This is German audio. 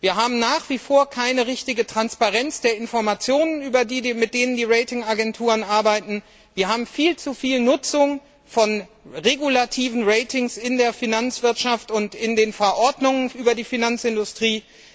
Wir haben nach wie vor keine richtige Transparenz der Informationen, mit denen die Ratingagenturen arbeiten, wir haben viel zu viel Nutzung von regulativen Ratings in der Finanzwirtschaft und in den Verordnungen über die Finanzindustrie.